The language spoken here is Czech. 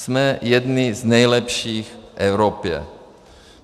Jsme jedni z nejlepších v Evropě.